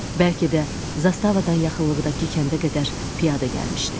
Bəlkə də zastavadan yaxınlıqdakı kəndə qədər piyada gəlmişdi.